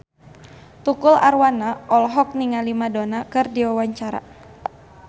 Tukul Arwana olohok ningali Madonna keur diwawancara